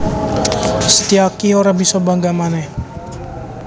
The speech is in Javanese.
Setyaki ora bisa bangga manèh